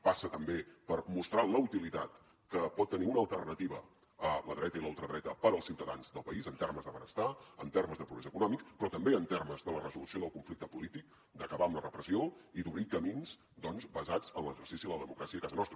passa també per mostrar la utilitat que pot tenir una alternativa a la dreta i la ultradreta per als ciutadans del país en termes de benestar en termes de progrés econòmic però també en termes de la resolució del conflicte polític d’acabar amb la repressió i d’obrir camins doncs basats en l’exercici de la democràcia a casa nostra